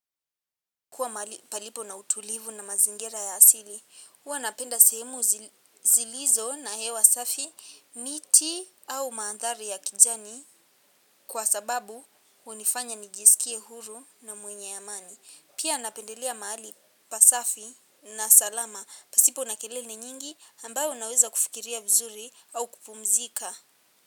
Kuwa mahali palipo na utulivu na mazingira ya asili, huwa napenda sehemu zilizo na hewa safi miti au maandhari ya kijani kwa sababu hunifanya nijisikie huru na mwenye amani. Pia napendelea mahali pasafi na salama pasipo na kelele nyingi ambayo naweza kufikiria vizuri au kupumzika.